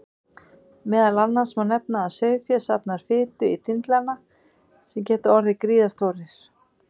Meðal annars má nefna að sauðfé safnar fitu í dindlana sem geta orðið gríðarstórir.